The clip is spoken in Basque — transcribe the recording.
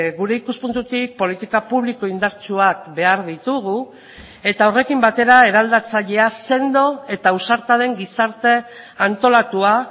gure ikuspuntutik politika publiko indartsuak behar ditugu eta horrekin batera eraldatzailea sendo eta ausarta den gizarte antolatua